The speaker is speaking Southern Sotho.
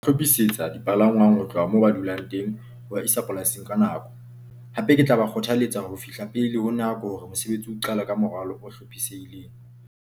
Hlophisetsa dipalangwang ho tloha moo ba dulang teng ho ba isa polasing ka nako. Hape ke tla ba kgothaletsa hore ho fihla pele ho nako hore mosebetsi o qale ka moralo o hlophisehileng.